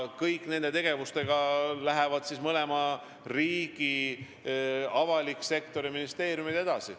Kõikide nende tegevustega lähevad mõlema riigi avalikud sektorid ja ministeeriumid edasi.